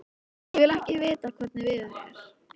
Ég vil ekki vita hvernig veður er.